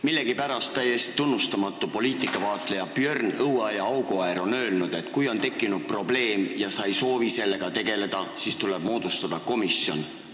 Millegipärast täiesti tunnustamata poliitikavaatleja Björn Õueaiaauguäär on öelnud, et kui on tekkinud probleem ja sa ei soovi sellega tegeleda, siis tuleb moodustada komisjon.